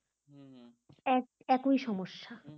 এক একই সমস্যা,